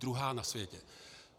Druhá na světě!